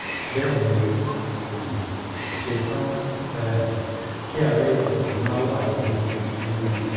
bẹ́ẹ̀ ni ó um ṣe tán um kí àárẹ̀ ìdọ̀tí máa wà nínú nínú ẹnu